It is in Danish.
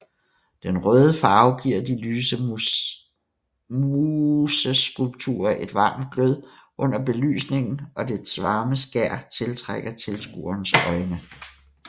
Den røde farve giver de lyse museskulpturer et varmt glød under belysningen og det varme skær tiltrækker tilskuernes øjne